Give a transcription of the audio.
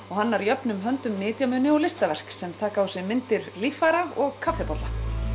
og hannar jöfnum höndum nytjamuni og listaverk sem taka á sig myndir líffæra og kaffibolla